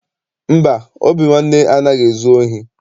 Mba, Obinwanne anaghị ezu ohi.